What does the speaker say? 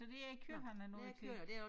Så det er kød han er ude at købe